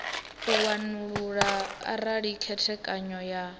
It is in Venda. u wanulula arali khethekanyo ya